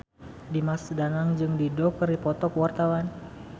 Dimas Danang jeung Dido keur dipoto ku wartawan